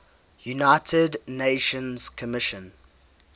united nations commission